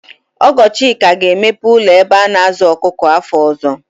Ọgọ Chika ga-emepe ụlọ ebe a na-azụ ọkụkọ afọ ọzọ.